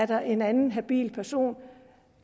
der er en anden habil person